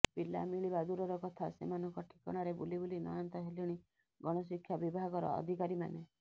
ପିଲା ମିଳିବା ଦୂରର କଥା ସେମାନଙ୍କ ଠିକଣାରେ ବୁଲିବୁଲି ନୟାନ୍ତ ହେଲେଣି ଗଣଶିକ୍ଷା ବିଭାଗର ଅଧିକାରୀମାନେ